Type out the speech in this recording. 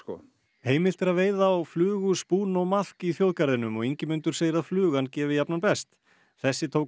heimilt er að veiða á flugu spún og maðk í þjóðgarðinum og Ingimundur segir að flugan gefi best þessi tók